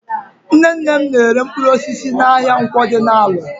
Nnenne m na-ere mpkụrụosisi n'ahịa Nkwọ dị n'Alọ.